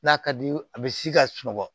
N'a ka di ye a bɛ si ka sunɔgɔ